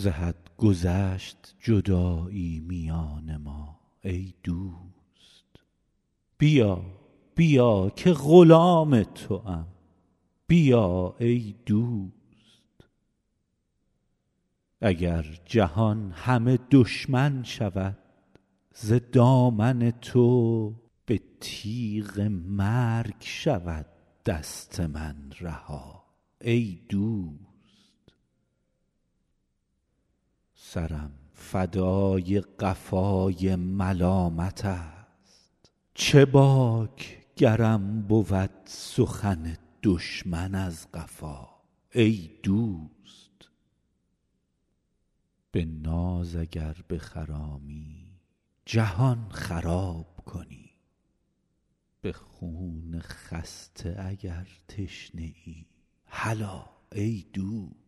ز حد گذشت جدایی میان ما ای دوست بیا بیا که غلام توام بیا ای دوست اگر جهان همه دشمن شود ز دامن تو به تیغ مرگ شود دست من رها ای دوست سرم فدای قفای ملامتست چه باک گرم بود سخن دشمن از قفا ای دوست به ناز اگر بخرامی جهان خراب کنی به خون خسته اگر تشنه ای هلا ای دوست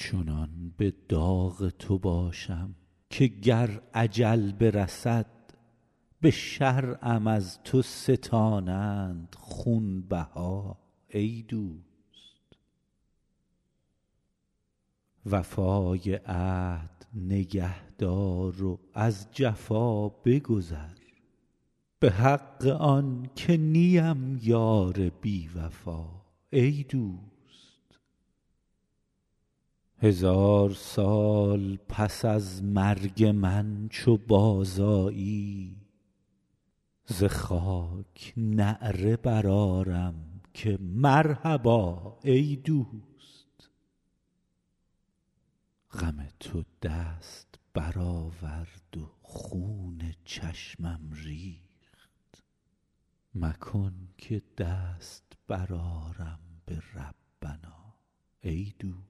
چنان به داغ تو باشم که گر اجل برسد به شرعم از تو ستانند خونبها ای دوست وفای عهد نگه دار و از جفا بگذر به حق آن که نیم یار بی وفا ای دوست هزار سال پس از مرگ من چو بازآیی ز خاک نعره برآرم که مرحبا ای دوست غم تو دست برآورد و خون چشمم ریخت مکن که دست برآرم به ربنا ای دوست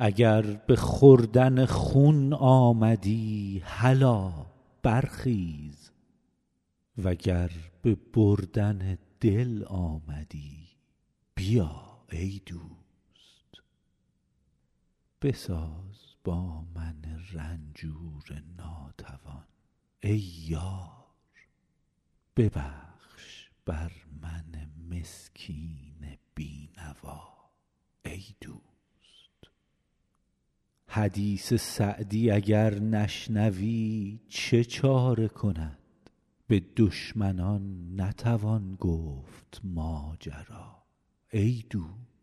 اگر به خوردن خون آمدی هلا برخیز و گر به بردن دل آمدی بیا ای دوست بساز با من رنجور ناتوان ای یار ببخش بر من مسکین بی نوا ای دوست حدیث سعدی اگر نشنوی چه چاره کند به دشمنان نتوان گفت ماجرا ای دوست